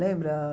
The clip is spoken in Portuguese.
Lembra?